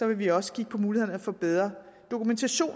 vi også kigge på mulighederne for bedre dokumentation